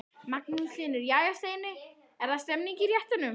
Magnús Hlynur: Jæja Steini, það er stemning í réttunum?